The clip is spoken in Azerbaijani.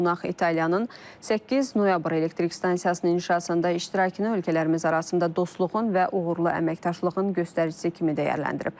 Qonaq İtaliyanın 8 noyabr elektrik stansiyasının inşasında iştirakını ölkələrimiz arasında dostluğun və uğurlu əməkdaşlığın göstəricisi kimi dəyərləndirib.